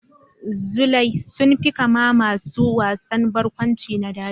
Tsulai sun fi kama masu wasan barkwanci na daji.